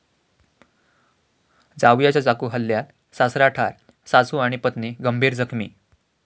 जावयाच्या चाकू हल्ल्यात सासरा ठार, सासू आणि पत्नी गंभीर जखमी